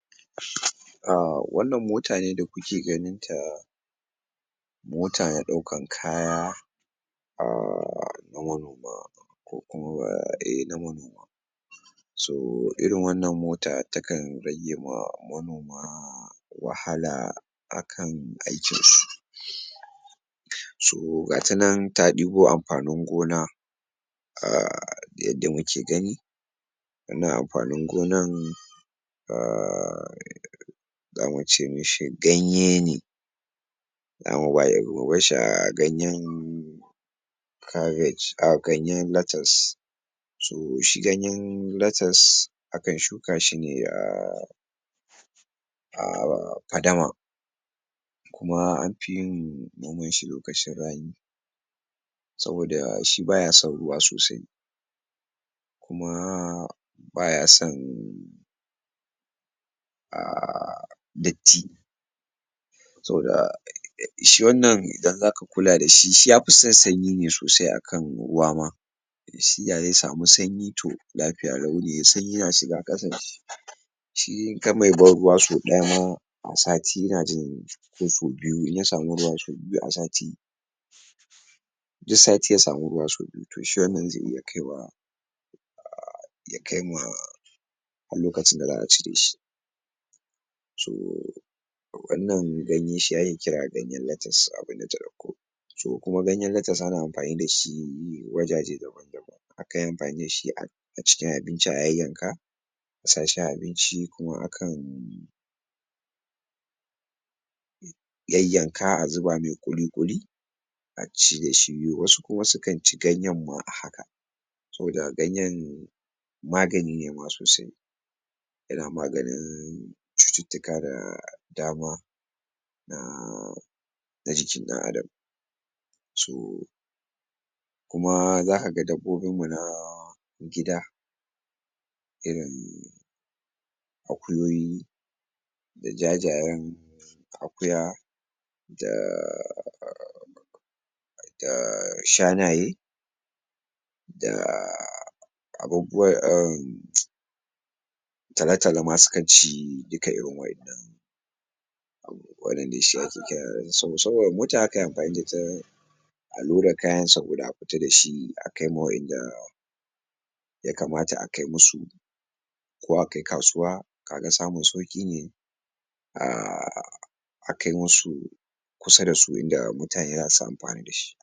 um wannan mota ne da kuke ganinta mota na ɗaukan kaya um na manoma ko kuma so irin wannan mota takan ragewa manoma wahala a kan aikin su so gatanan ta ɗibo amfanin gona um yadda muke gani na amfanin gonan zamu ce mishi ganye ne mu bashshi a ganyen ganyen lates so shi ganyen lates a kan shuka shi ne a um fadama kuma anfi yin noman shi lokacin rani saboda shi baya son ruwa sosai kuma baya son um datti saboda shi wannan idan zaka kula da shi shi yafi son sanyi ne sosai a kan ruwa ma shi da ze samu sanyi to lafiya lau ne shi in a mai ban ruwa sau ɗaya ma a sati ina jin ko ko sau biyu in ya samu ruwa sau biyu a sati duk sati ya samu ruwa sau biyu to shi wannan ze iya kaiwa ya kai ma har lokacin da za'a cire shi so to kuma ganyen latus ana amfani da shi ne wajaje daba-daban A kan yi amfani da shi a cikin abinci a yayyanka sashi a abinci kuma a kan yayyanka a zuba mai ƙuli-ƙuli a ci da shi. Wasu kuma su kan ci ganyen ma a haka saboda ganyen magani ne ma sosai irin maganin cututtuka da dama um na jikin dan adam. so kuma zakaga dabbobinmu na gida irin akuyoyi, da jajayen akuya um shanaye um talotalo ma su kan ci duka irin wa innan wannan de shi ake kira a loda kayansa guda a fita dashi a kaima wa inda ya kamata a kai musu ko a kai kasuwa kaga samun sauƙi ne um a kai musu kusa da su inda mutane zasu amfani da shi